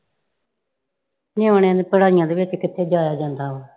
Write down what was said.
ਨਿਆਣਿਆਂ ਦੀਆਂ ਪੜਾਈਆਂ ਦੇ ਵਿਚ ਕਿੱਥੇ ਜਾਇਆ ਜਾਂਦਾ ਵਾ।